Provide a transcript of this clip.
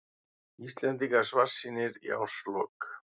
Íslendingar svartsýnir í árslok